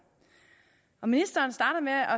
ministeren starter med at